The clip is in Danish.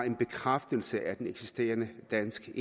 en bekræftelse af den eksisterende danske